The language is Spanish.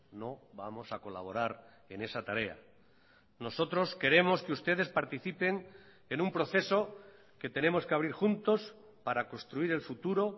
no vamos a colaborar en esa tarea nosotros queremos que ustedes participen en un proceso que tenemos que abrir juntos para construir el futuro